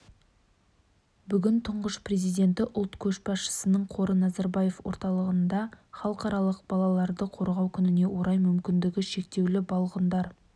бүгін тұңғыш президенті ұлт көшбасшысының қоры назарбаев орталығында халықаралық балаларды қорғау күніне орай мүмкіндігі шектеулі балғындар